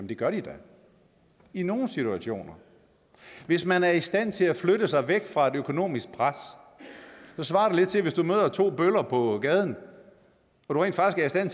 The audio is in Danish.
det gør de da i nogle situationer hvis man er i stand til at flytte sig væk fra et økonomisk pres svarer det lidt til at du hvis du møder to bøller på gaden rent faktisk er